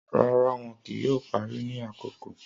Rara, wọn kii yoo pari ni akoko.